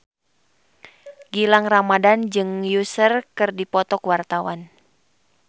Gilang Ramadan jeung Usher keur dipoto ku wartawan